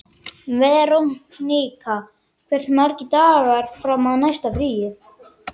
Veronika, hversu margir dagar fram að næsta fríi?